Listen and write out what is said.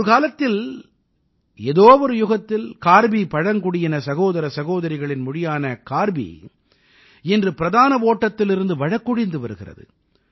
ஒரு காலத்தில் ஏதோ ஒரு யுகத்தில் கார்பி பழங்குடியின சகோதர சகோதரிகளின் மொழியான கார்பி இன்று பிரதான ஓட்டத்திலிருந்து வழக்கொழிந்து வருகிறது